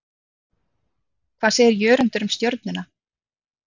Hvað segir Jörundur um Stjörnuna?